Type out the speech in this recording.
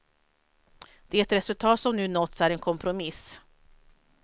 Det resultat som nu nåtts är en kompromiss.